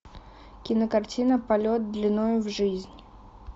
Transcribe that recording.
кинокартина полет длиною в жизнь